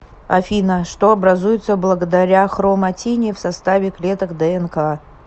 афина что образуется благодаря хроматине в составе клеток днк